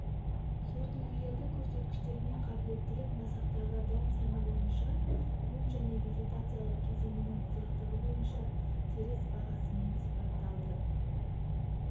сортүлгілердің көрсеткіштерімен қабілеттілік масақтағы дән саны бойынша оң және вегетациялық кезеңінің ұзақтығы бойынша теріс бағасымен сипатталды